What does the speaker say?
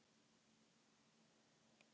Hrói